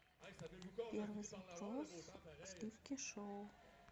первый запрос сливки шоу